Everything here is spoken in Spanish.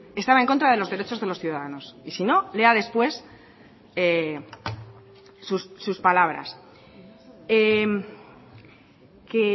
estaba en contra de los derechos de los ciudadanos y si no lea después sus palabras que